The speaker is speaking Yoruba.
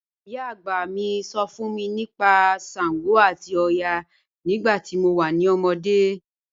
Iyà agbá mí sọ̀ fún mí nípà ṣàngó àti ọ̀yà nígbà tí mo wà ní òmódé.